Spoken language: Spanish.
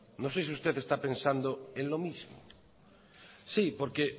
no sé si usted está pensando en lo mismo sí porque